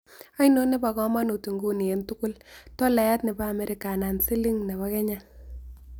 Ainon ne po kamanut nguni eng' tugul, tolayat ne po amerika anan siling ne po kenya